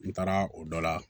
N taara o dɔ la